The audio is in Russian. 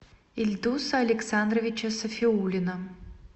ильдуса александровича сафиуллина